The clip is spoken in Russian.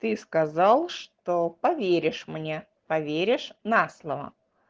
ты сказал что поверишь мне поверишь на слово